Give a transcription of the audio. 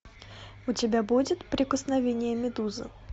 у тебя будет прикосновение медузы